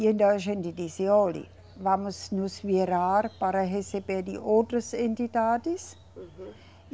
E então a gente disse, olhe, vamos nos virar para receber de outras entidades. Uhum.